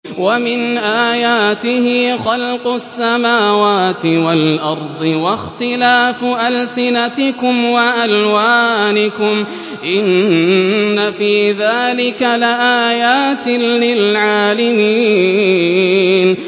وَمِنْ آيَاتِهِ خَلْقُ السَّمَاوَاتِ وَالْأَرْضِ وَاخْتِلَافُ أَلْسِنَتِكُمْ وَأَلْوَانِكُمْ ۚ إِنَّ فِي ذَٰلِكَ لَآيَاتٍ لِّلْعَالِمِينَ